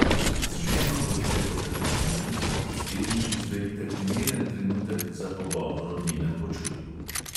Z ženo bodite potrpežljivi in naslednjič izberite primeren trenutek za pogovor o njenem počutju.